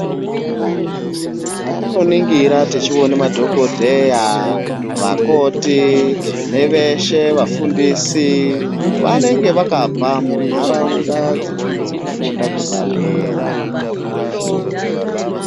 Patinoningira tichione madhogodheya, vakoti neveshe vafundisi. Vanonga vakabva muntaraunda dzenzvimbo dzekufunda kwepadera.